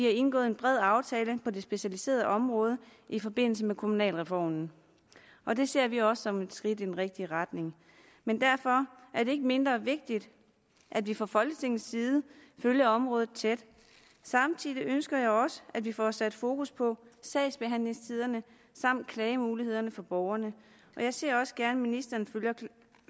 er indgået en bred aftale på det specialiserede område i forbindelse med kommunalreformen og det ser vi også som et skridt i den rigtige retning men derfor er det ikke mindre vigtigt at vi fra folketingets side følger området tæt samtidig ønsker jeg også at vi får sat fokus på sagsbehandlingstiderne samt klagemulighederne for borgerne jeg ser også gerne at ministeren